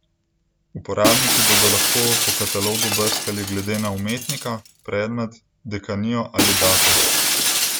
Uporabniki bodo lahko po katalogu brskali glede na umetnika, predmet, dekanijo ali datum.